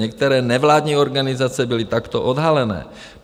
Některé nevládní organizace byly takto odhalené.